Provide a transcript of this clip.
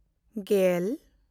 ᱜᱮᱞ